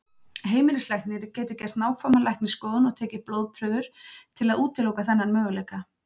Heimilislæknir getur gert nákvæma læknisskoðun og tekið blóðprufur til að útiloka þennan möguleika.